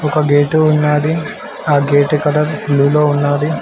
ఒక గేటు ఉన్నాది ఆ గేటు కలర్ బ్లూలో ఉన్నది.